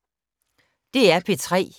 DR P3